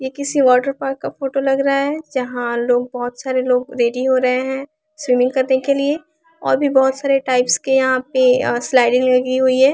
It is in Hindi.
यह किसी वोटर पार्क का फोटो लग रहा है यहाँ लोग बहुत सारे लोग रेडी हो रहे हैं स्विमिंग करने के लिए और भी बहुत सारे टाइप्स के यहाँ पे स्लाइडिंग लगी हुई है।